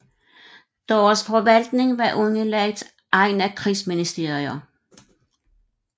Deres forvaltning var underlagt egne krigsministerier